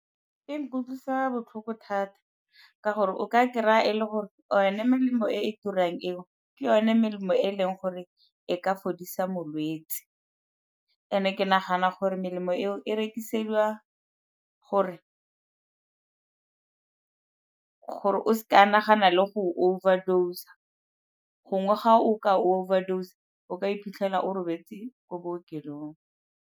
E nkutlwisa botlhoko thata ka gore o ka kry-a e le gore one melemo e e turang eo ke yone melemo e leng gore e ka fodisa molwetsi, and-e ke nagana gore melemo eo e rekisediwa gore o se ka a nagana le go overdose-a. Gongwe ga o ka overdose-a, o ka iphitlhela o robetse ko bookelong.